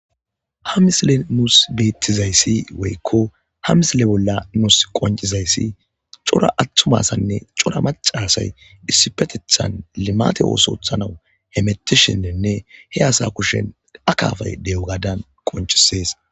Ha misilean nusu betizays woyko ha misile bolla nusu qoncizays cora atuma asanne cora maca asay Issipetethan limate otho othanaw hemetishennne he asa kushen akafay de'eo gadan qoncises